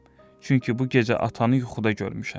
Çünki bu gecə atanı yuxuda görmüşəm.